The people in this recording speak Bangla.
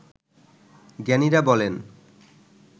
জ্ঞানীরা বলেন